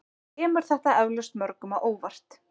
Kemur þetta eflaust mörgum á óvart